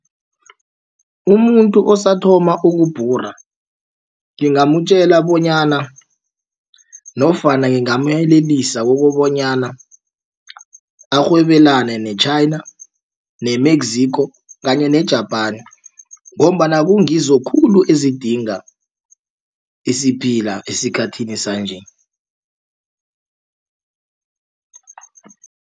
Umuntu osathoma ukubhura ngingamtjela bonyana nofana ngingamyelelisa kukobonyana arhwebelane ne-China, i-Mexico kanye ne-Japan ngombana kungizo khulu ezidinga isiphila esikhathini sanje.